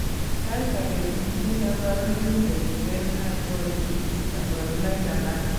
Saaitake itinye kaborunik chetuten ak koor isich kaborunoik alak